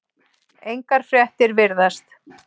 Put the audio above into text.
Engar fréttir virðast